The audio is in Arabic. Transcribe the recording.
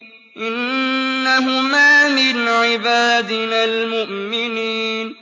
إِنَّهُمَا مِنْ عِبَادِنَا الْمُؤْمِنِينَ